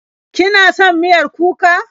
Kina son miyar kuka?